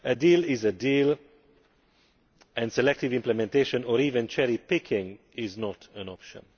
A deal is a deal, and selective implementation or even cherry picking is not an option.